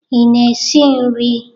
Ị na-esi nri?